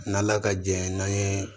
N'an ala ka jɛ n'an ye